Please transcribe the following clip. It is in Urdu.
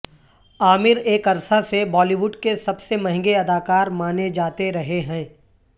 عامر ایک عرصہ سے بالی وڈ کے سب سے مہنگے اداکار مانے جاتے رہے ہیں